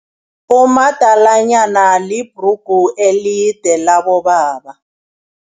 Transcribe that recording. Umadalanyana libhrugu elide labobaba.